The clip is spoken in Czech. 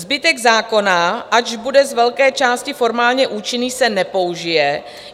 Zbytek zákona, ač bude z velké části formálně účinný, se nepoužije.